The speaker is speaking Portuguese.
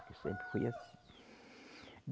Sempre foi assim.